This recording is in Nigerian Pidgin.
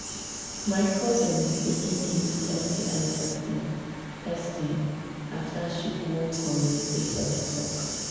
my cousin begin dey use sti testing testing after she go community health talk.